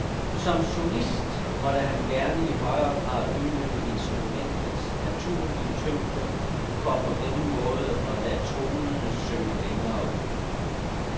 Som solist måtte han gerne i højere grad udnytte instrumentets naturlige tyngde for på denne måde at lade tonerne synge længere ud.